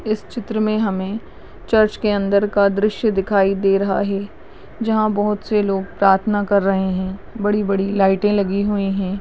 इस चित्र में हमें चर्च के अन्दर का दृश्य दिखाई दे रहा है जहा बहूत से लोग प्रार्थना कर रहे है बड़ी बड़ी लाइटे लगी हुयी है।